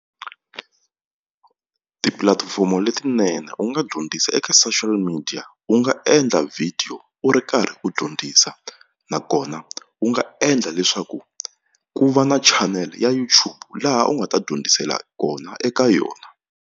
Tipulatifomo letinene u nga dyondzisa eka social media u nga endla video u ri karhi u dyondzisa nakona u nga endla leswaku ku va na channel ya YouTube laha u nga ta dyondzisela kona eka yona.